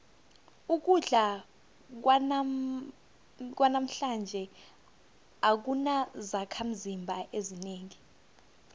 ukudla kwanamhlanje akunazakhimzimba ezinengi